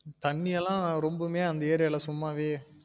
தண்ணி எல்லாம் ரொம்புமே அந்த area ல சும்மாவே